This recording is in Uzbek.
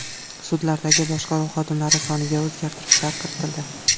Sudlardagi boshqaruv xodimlari soniga o‘zgartishlar kiritildi.